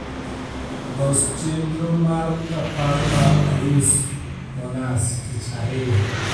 los chenro mar rapar mar arusmonas tich ariyo